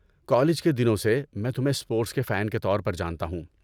College کے دنوں سے، میں تمہیں اسپورٹس کے فین کے طور پر جانتا ہوں۔